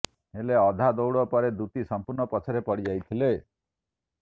ହେଲେ ଅଧା ଦୌଡ଼ ପରେ ଦୂତୀ ସଂପୂର୍ଣ୍ଣ ପଛରେ ପଡ଼ି ଯାଇଥିଲେ